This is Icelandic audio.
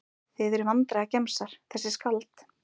Þið eruð vandræðagemsar þessi skáld.